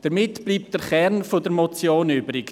Damit bleibt der Kern der Motion übrig.